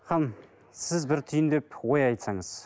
ханым сіз бір түйіндеп ой айтсаңыз